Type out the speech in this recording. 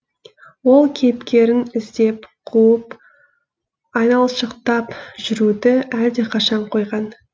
ол кейіпкерін іздеп қуып айналшықтап жүруді әлдеқашан қойған